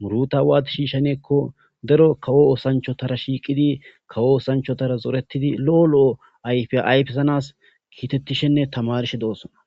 muruta waati shiishaneekko daro kawo oosanchotara shiiqidi kawo oosanchotara zoretidi lo7o lo7o ayfi ayfesanas kiitettishenne tamarshe doossona